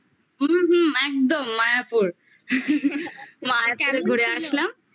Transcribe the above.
হুম একদম মায়াপুর মায়াপুর ঘুরে আসলাম